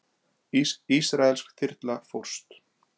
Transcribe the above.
Ísraelsk þyrla fórst